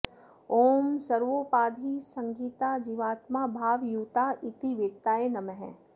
ॐ सर्वोपाधि सहिताः जीवात्मा भावयुताः इति वेत्ताय नमः